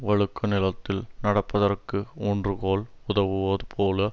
வழுக்கு நிலத்தில் நடப்பதற்கு ஊன்றுகோல் உதவுவது போல